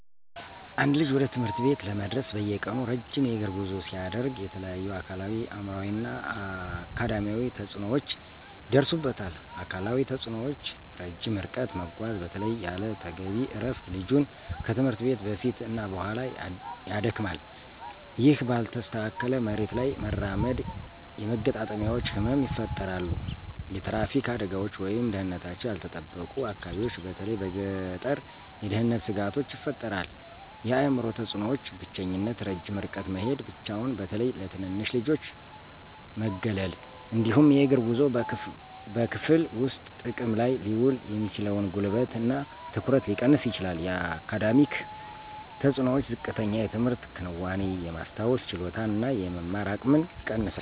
አንድ ልጅ ወደ ትምህርት ቤት ለመድረስ በየቀኑ ረጅም የእግር ጉዞ ሲያደርግ የተለያዩ አካላዊ፣ አእምሯዊ እና አካዳሚያዊ ተጽዕኖዎች ይደርሱበታል። አካላዊ ተጽእኖዎች - ረጅም ርቀት መጓዝ በተለይም ያለ ተገቢ እረፍት ልጁን ከትምህርት ቤት በፊት እና በኋላ ያደክማል። ይህ ባልተስተካከለ መሬት ላይ መራመድ የመገጣጠሚያዎች ህመም ይፈጠራሉ። የትራፊክ አደጋዎች ወይም ደህንነታቸው ያልተጠበቁ አካባቢዎች በተለይ በገጠር የደህንነት ስጋቶች ይፈጥራል። የአእምሮ ተፅእኖዎች - ብቸኝነት ረጅም ርቀት መሄድ ብቻውን በተለይ ለትንንሽ ልጆች መገለል። እንዲሁም የእግር ጉዞው በክፍል ውስጥ ጥቅም ላይ ሊውል የሚችለውን ጉልበት እና ትኩረት ሊቀንስ ይችላል። የአካዳሚክ ተፅእኖዎች - ዝቅተኛ የትምህርት ክንዋኔ፣ የማስታወስ ችሎታን እና የመማር አቅምን ይቀንሳል።